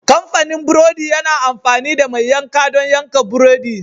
Kamfanin burodi yana amfani da mai yanka don yanka buredi.